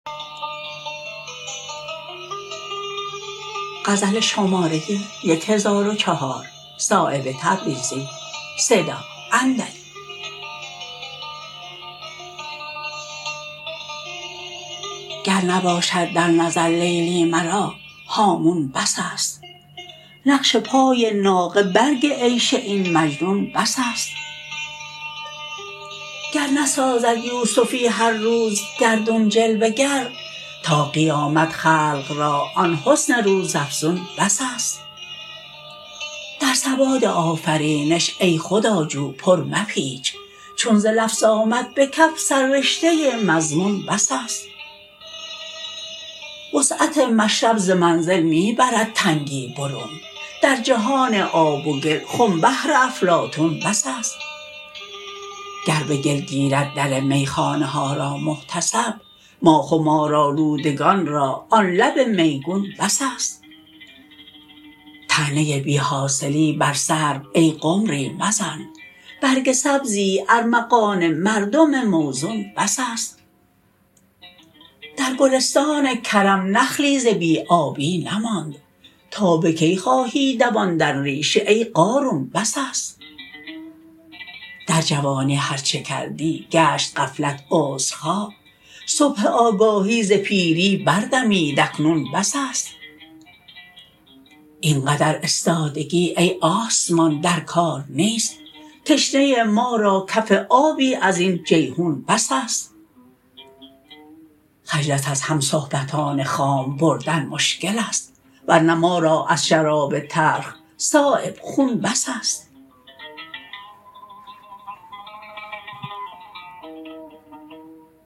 گر نباشد در نظر لیلی مرا هامون بس است نقش پای ناقه برگ عیش این مجنون بس است گر نسازد یوسفی هر روز گردون جلوه گر تا قیامت خلق را آن حسن روزافزون بس است در سواد آفرینش ای خداجو پر مپیچ چون ز لفظ آمد به کف سر رشته مضمون بس است وسعت مشرب ز منزل می برد تنگی برون در جهان آب و گل خم بهر افلاطون بس است گر به گل گیرد در میخانه ها را محتسب ما خمارآلودگان را آن لب میگون بس است طعنه بی حاصلی بر سرو ای قمری مزن برگ سبزی ارمغان مردم موزون بس است در گلستان کرم نخلی ز بی آبی نماند تا به کی خواهی دواندن ریشه ای قارون بس است در جوانی هر چه کردی گشت غفلت عذرخواه صبح آگاهی ز پیری بردمید اکنون بس است اینقدر استادگی ای آسمان در کار نیست تشنه ما را کف آبی ازین جیحون بس است خجلت از همصحبتان خام بردن مشکل است ورنه ما را از شراب تلخ صایب خون بس است